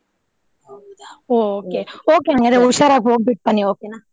ಹೌದಾ okay ಹಂಗಾದ್ರೆ ಹುಷಾರಾಗಿ ಹೋಗ್ಬಿಟ್ಟ್ ಬನ್ನಿ okay ನಾ.